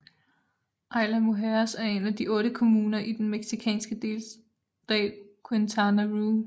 Isla Mujeres er en af otte kommuner i den mexicanske delstat Quintana Roo